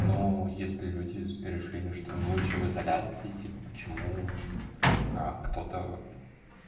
ну если люди решили что им лучше в изоляции типа почему а кто-то